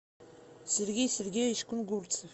сергей сергеевич кунгурцев